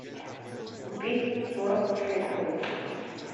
купить сорок шекелей